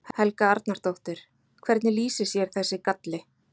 Helga Arnardóttir: Hvernig lýsir sér þessi galli?